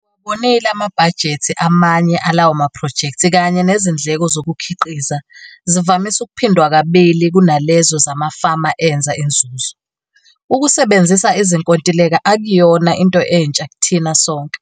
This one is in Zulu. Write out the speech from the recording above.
Ngiwabonile amabhajethi amanye alawo maphrojekthi kanye nezindleko zokukhiqiza zivamisa ukuphindwa kabili kunalezo zamafama enza inzuzo. Ukusebenzisa izinkontileka akuyona into entsha kithina sonke,